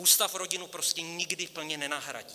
Ústav rodinu prostě nikdy plně nenahradí.